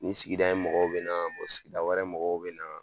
Nin sigida in mɔgɔw be na, sigida wɛrɛ mɔgɔw be na.